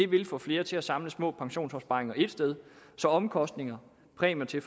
vil få flere til at samle små pensionsopsparinger ét sted så omkostninger præmier til